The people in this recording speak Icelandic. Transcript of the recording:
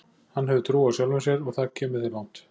Hann hefur trú á sjálfum sér og það kemur þér langt.